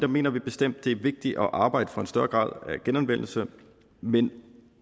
mener vi bestemt det er vigtigt at arbejde for en større grad af genanvendelse men